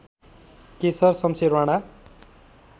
Keshar Shamsher Rana